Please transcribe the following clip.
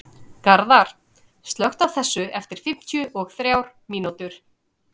Garðar, slökktu á þessu eftir fimmtíu og þrjár mínútur.